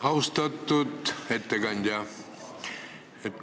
Austatud ettekandja!